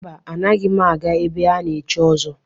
Mba, anaghị m aga ebe a na-echi ọzọ.